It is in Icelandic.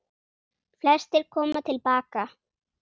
Flestir koma til baka